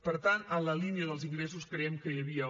per tant en la línia dels ingressos creiem que hi havia